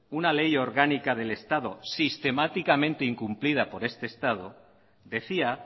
una ley orgánica del estado sistemáticamente incumplida por este estado decía